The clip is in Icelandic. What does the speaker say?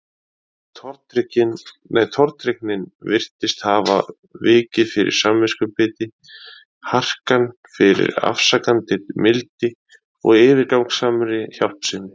Tortryggnin virtist hafa vikið fyrir samviskubiti, harkan fyrir afsakandi mildi og yfirgangssamri hjálpsemi.